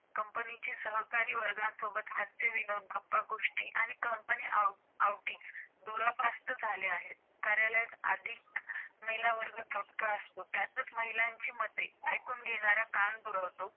कंपनीच्या सहकऱ्यां वर्गण सोबत हस्ते व गप्प गोष्टी व आणि company outing दूर पसत झाले आहेत कार्यालत आधिक महिला वर्ग होता त्यातून महिलयां मदे एकूण घेणाऱ्या कान भरतो